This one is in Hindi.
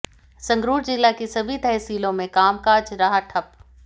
संगरूर जिला की सभी तहसीलों में कामकाज रहा ठप